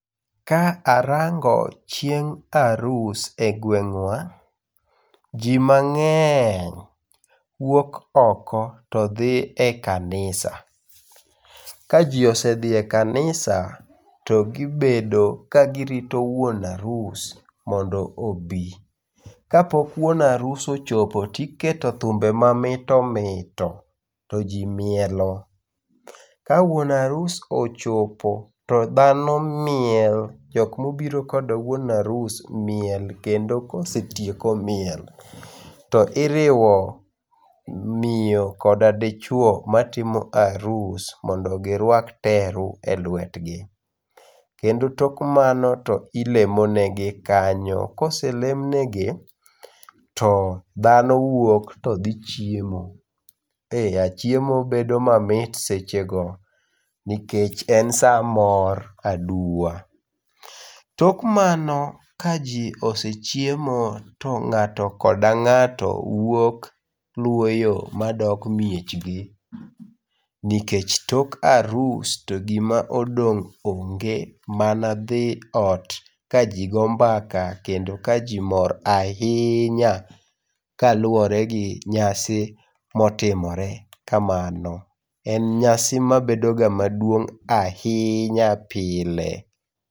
Ka arango chieng arus e gweng wa ji mangeny wuok ok to dhi e kanisa ka ji osedhie kanisa to gi bedo ka girito wuon arus mondo obi ka pok wuon arus ochopo to iketo thumbe ma mito mito to ji mielo ka wuon arus ochopo to dhano miel jok mobiro kod wuon arus miel kendo kosetieko miel to i riwo miyo koda dichwo ma timo arus mondo gi rwak teru e lwet gi kendo tok mano i lemo negi kanyo kose lemnegi to dhano wuok to dhi chiemo e yawa chiemo bedo ma mit seche go nikech en saa mor aduwa tok mano ka ji osechiemo to ngato koda ngato wuok luwo yo ma dok miech gi nikech tok arus to gima odong onge mak mana dhi ot ka ji go mbaka kendo ka ji mor ahinya ka lwore gi nyasi motimore kamano en nyasi ma bedo ga maduong ahinya pile.